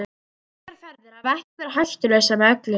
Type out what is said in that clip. Slíkar ferðir hafa ekki verið hættulausar með öllu.